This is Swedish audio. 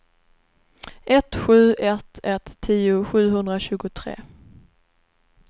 ett sju ett ett tio sjuhundratjugotre